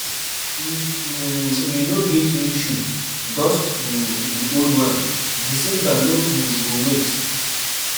If um you no get new shoe, dust um the old one, December no um go wait!